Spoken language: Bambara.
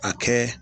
A kɛ